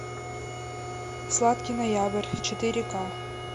сладкий ноябрь четыре ка